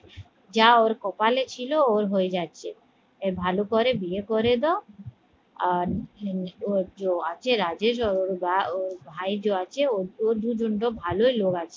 যা ওর কপালে ছিল ওর হয়ে যাচ্ছে এই ভালো করে বিয়ে করে দাও আর আছে রাজেশ ওর বা ওর ভাই যে আছে ও দুজন তো ভালোই লোক আছে